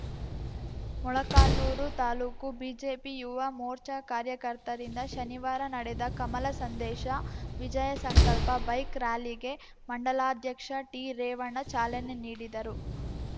ಮೊಳಕಾಲ್ನುರು taluk BJP Yuva Morcha ಕಾರ್ಯಕರ್ತರಿಂದ ಶನಿವಾರ ನಡೆದ ಕಮಲ ಸಂದೇಶ ವಿಜಯ ಸಂಕಲ್ಪ ಬೈಕ್‌ ರಾಲಿಗೆ ಮಂಡಲಾಧ್ಯಕ್ಷ ಟಿರೇವಣ್ಣ ಚಾಲನೆ ನೀಡಿದರು